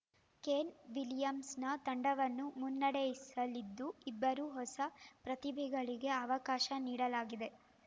Kane Williamson ತಂಡವನ್ನು ಮುನ್ನಡೆಸಲಿದ್ದು ಇಬ್ಬರು ಹೊಸ ಪ್ರತಿಭೆಗಳಿಗೆ ಅವಕಾಶ ನೀಡಲಾಗಿದೆ